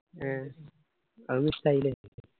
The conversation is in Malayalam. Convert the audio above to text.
ഏ അതൊന്നു ഇഷ്ടായില്ലെ